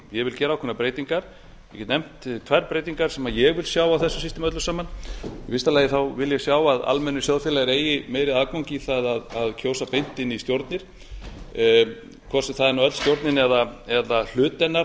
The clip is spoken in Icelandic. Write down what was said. vil gera ákveðnar breytingar ég get nefnt tvær breytingar sem ég vil sjá á þessu systemi öllu saman í fyrsta lagi vil ég sjá að almennir sjóðfélagar eigi meiri aðgang í það að kjósa beint inn í stjórnir hvort sem það er öll stjórnin eða hluti hennar